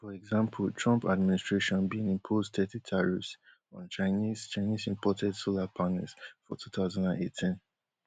for example trump administration bin impose thirty tariffs on chinese chinese imported solar panels for two thousand and eighteen